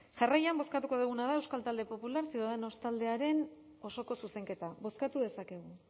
jarraian bozkatuko duguna da euskal talde popularra ciudadanos taldearen osoko zuzenketa bozkatu dezakegu